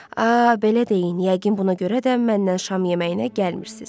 A, belə deyin, yəqin buna görə də məndən şam yeməyinə gəlmirsiz.